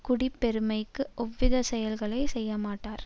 குடிப்பெருமைக்கு ஒவ்வித செயல்களை செய்யமாட்டார்